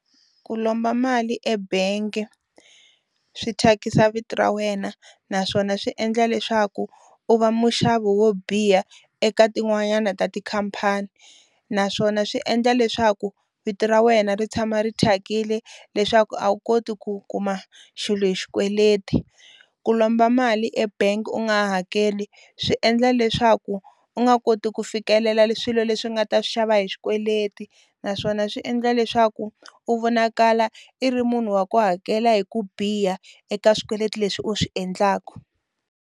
Ku lomba mali ebank swi thyakisa vito ra wena naswona swi endla leswaku u va muxavi wo biha eka tin'wanyana ta tikhamphani naswona swi endla leswaku vito ra wena ri tshama ri thyakile leswaku a wu koti ku kuma xilo hi xikweleti ku lomba mali ebank u nga hakeli swi endla leswaku u nga koti ku fikelela swilo leswi nga ta swi xava hi xikweleti naswona swi endla leswaku u vonakala i ri munhu wa ku hakela hi ku biha eka swikweleti leswi u swi endlaku.